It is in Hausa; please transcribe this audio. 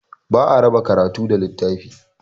Ba a raba karatu da littafi.